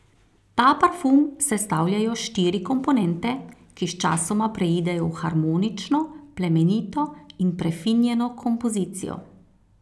Ta parfum sestavljajo štiri komponente, ki sčasoma preidejo v harmonično, plemenito in prefinjeno kompozicijo.